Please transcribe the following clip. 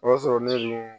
O y'a sɔrɔ ne ninnu